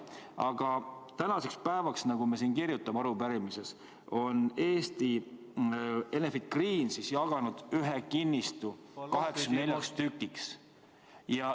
Aga tänaseks päevaks on, nagu me siin arupärimises kirjutame, Enefit Green jaganud ühe kinnistu 84 tükiks.